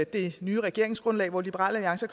det nye regeringsgrundlag hvor liberal alliance